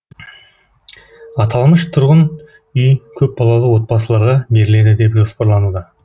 аталмыш тұрғын үй көпбалалы отбасыларға беріледі деп жоспарлан